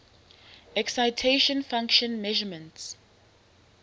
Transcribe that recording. excitation function measurements